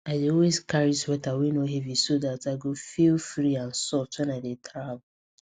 i dey always carry sweater wey no heavy so that i go feel free and soft when i dey travel